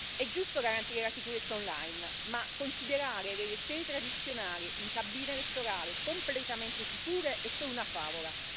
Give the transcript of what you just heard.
È giusto garantire la sicurezza online, ma considerare le elezioni tradizionali in cabine elettorali completamente sicure è solo una favola.